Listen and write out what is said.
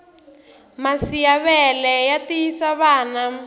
masi ya vele ya tiyisa vana